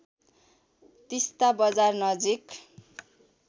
तिस्‍ता बजार नजिक